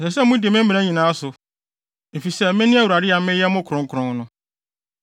Ɛsɛ sɛ mudi me mmara nyinaa so, efisɛ mene Awurade a meyɛ mo kronkron no.